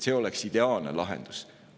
See oleks ideaalne lahendus.